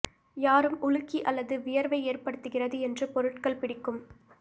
யாரும் உலுக்கி அல்லது வியர்வை ஏற்படுத்துகிறது என்று பொருட்கள் பிடிக்கும்